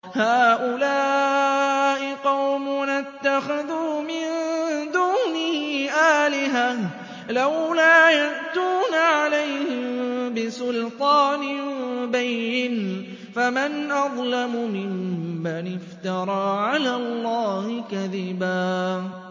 هَٰؤُلَاءِ قَوْمُنَا اتَّخَذُوا مِن دُونِهِ آلِهَةً ۖ لَّوْلَا يَأْتُونَ عَلَيْهِم بِسُلْطَانٍ بَيِّنٍ ۖ فَمَنْ أَظْلَمُ مِمَّنِ افْتَرَىٰ عَلَى اللَّهِ كَذِبًا